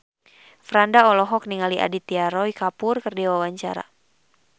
Franda olohok ningali Aditya Roy Kapoor keur diwawancara